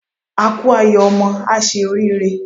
A kú ayọ̀ ọmọ, á ṣe oríire.